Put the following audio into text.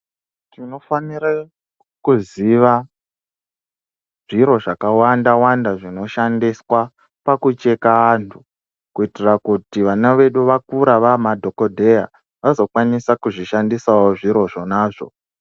Tinofanira kuziva zviro zvakawanda wanda zvinoshandiswa pakucheka antu, kuitira kuti vana vedu vakura vamadhokodheya vazokwanisa kuzvishandisawo zviro zvonazvo.